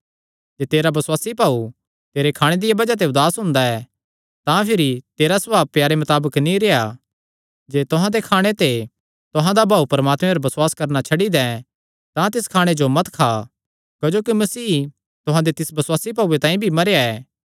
जे तेरा बसुआसी भाऊ तेरे खाणे दिया बज़ाह ते उदास हुंदा ऐ तां भिरी तेरा सभाव प्यारे मताबक नीं रेह्आ जे तुहां दे खाणे ते तुहां दा भाऊ परमात्मे पर बसुआस करणा छड्डी दैं तां तिस खाणे जो मत खा क्जोकि मसीह तुहां दे तिस बसुआसी भाऊये तांई भी मरेया ऐ